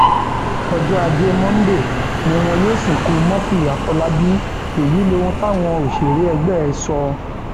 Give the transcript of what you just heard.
ọjọ ajé monde ni wọn yóò sìnkú murphy àfọlábàbí èyí lóhun táwọn òṣèré ẹgbẹ ẹ sọ